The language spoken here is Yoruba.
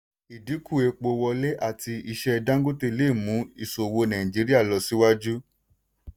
ìdínkù epo wọlé àti iṣẹ́ dangote lè mu ìṣòwò nàìjíríà lọ síwájú.